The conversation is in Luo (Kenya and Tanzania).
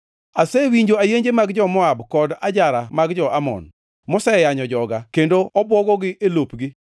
“Asewinjo ayenje mag jo-Moab kod ajara mag jo-Amon, moseyanyo joga kendo obwogogi e lopgi.”